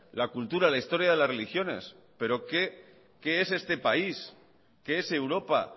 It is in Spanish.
la cultura la historia de las religiones pero qué es este país qué es europa